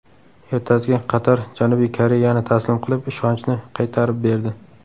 Ertasiga Qatar Janubiy Koreyani taslim qilib, ishonchni qaytarib berdi.